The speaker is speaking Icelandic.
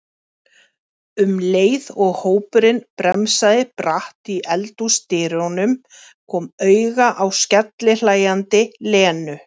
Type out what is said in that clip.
um leið og hópurinn bremsaði bratt í eldhúsdyrum, kom auga á skellihlæjandi Lenu.